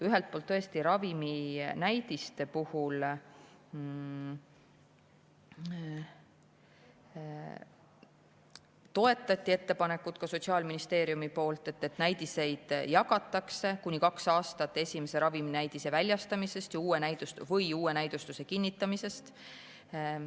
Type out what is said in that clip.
Ühelt poolt toetas Sotsiaalministeerium raviminäidiseid puudutavat ettepanekut, et näidiseid jagatakse kuni kaks aastat esimese raviminäidise väljastamisest või uue näidustuse kinnitamisest.